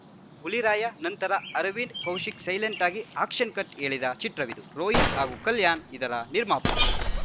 ಹುಲಿರಾಯ ನಂತರ ಅರವಿಂದ್‌ ಕೌಶಿಕ್‌ ಸೈಲೆಂಟ್‌ ಆಗಿ action cut ಹೇಳಿದ ಚಿತ್ರವಿದು ರೋಹಿತ್‌ ಹಾಗೂ ಕಲ್ಯಾಣ್‌ ಇದರ ನಿರ್ಮಾಪಕರು